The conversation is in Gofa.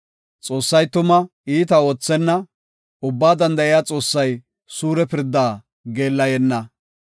Xoossay tuma iita oothenna; Ubbaa Danda7iya Xoossay suure pirdaa geellayenna.